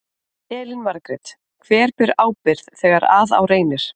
Elín Margrét: Hver ber ábyrgð þegar að á reynir?